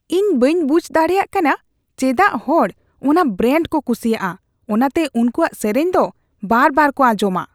ᱤᱧ ᱵᱟᱹᱧ ᱵᱩᱡᱷ ᱫᱟᱲᱮᱭᱟᱜ ᱠᱟᱱᱟ ᱪᱮᱫᱟᱜ ᱦᱚᱲ ᱚᱱᱟ ᱵᱨᱮᱱᱰ ᱠᱚ ᱠᱩᱥᱤᱭᱟᱜᱼᱟ ᱾ ᱚᱱᱟᱛᱮ ᱩᱱᱠᱩᱣᱟᱜ ᱥᱮᱨᱮᱧ ᱫᱚ ᱵᱟᱨᱵᱟᱨ ᱠᱚ ᱟᱸᱧᱡᱚᱢᱟ ᱾